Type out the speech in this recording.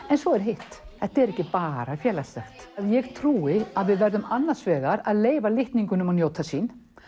en svo er hitt þetta er ekki bara félagslegt ég trúi að við verðum annars vegar að leyfa litningunum að njóta sín